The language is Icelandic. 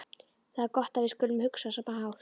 Það er gott að við skulum hugsa á sama hátt.